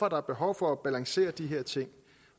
er behov for at balancere de her ting